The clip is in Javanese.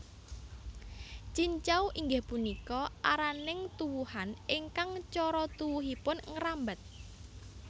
Cincau inggih punika araning tuwuhan ingkang cara tuwuhipun ngrambat